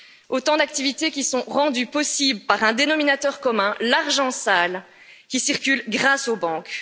Autant d'activités qui sont rendues possibles par un dénominateur commun l'argent sale qui circule grâce aux banques.